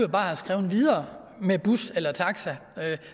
bare have skrevet videre med bus eller taxa